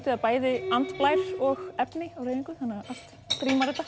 það bæði andblær og efni á hreyfingu þannig að allt rímar þetta